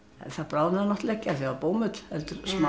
það bráðnaði náttúrlega ekki af því það var bómull heldur